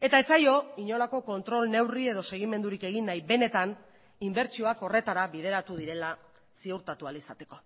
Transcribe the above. eta ez zaio inolako kontrol neurri edo segimendurik egin nahi benetan inbertsioak horretara bideratu direla ziurtatu ahal izateko